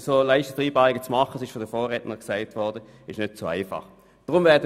Das wissen diejenigen, die grosse Exekutiverfahrung haben.